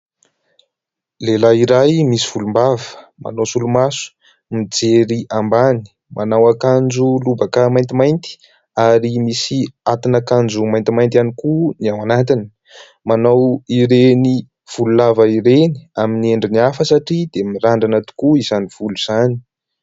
Lehilahy iray misy volom-bava, manao solomaso, mijery ambany, manao akanjo lobaka maintimainty ary misy atin'akanjo maintimainty ihany koa ny ao anatiny, manao ireny volo lava ireny amin'ny endriny hafa satria dia mirandrana tokoa izany volo izany.